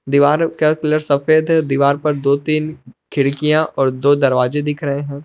दीवारों का कलर सफेद दीवार पर दो तीन खिड़कियां और दो दरवाजे दिख रहे है।